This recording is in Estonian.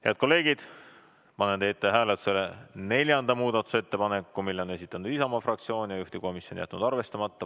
Head kolleegid, panen teie ette hääletusele neljanda muudatusettepaneku, mille on esitanud Isamaa fraktsioon ja juhtivkomisjon on jätnud arvestamata.